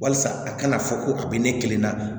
Walasa a kana fɔ ko a bɛ ne kelen na